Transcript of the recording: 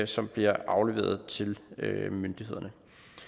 som bliver afleveret til myndighederne